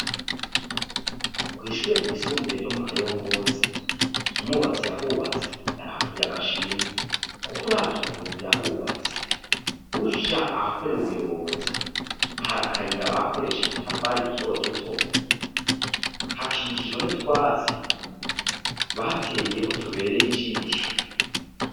Kw'ishure ryisumbuye ryo mu kayongozi, umwubatsi yahubatse yarahakuye agashimwe ! Kuko uravye ukuntu yahubatse ,uja ahakorera ubuyobozi ,hari akayira bakoresheje udutafari duto duto , hakikijwe n'utwatsi bateyeho tubereye ijisho.